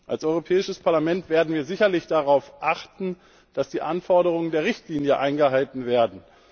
Als Europäisches Parlament werden wir sicherlich darauf achten, dass die Anforderungen der Richtlinie eingehalten werden.